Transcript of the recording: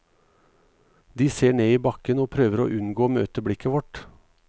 De ser ned i bakken og prøver å unngå å møte blikket vårt.